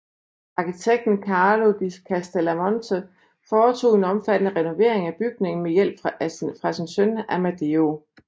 Arkitekten Carlo di Castellamonte foretog en omfattende renovering af bygningen med hjælp fra sin søn Amedeo